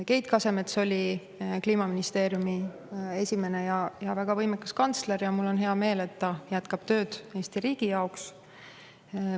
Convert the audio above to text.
Keit Kasemets oli Kliimaministeeriumi esimene ja väga võimekas kantsler ja mul on hea meel, et ta jätkab tööd Eesti riigi jaoks.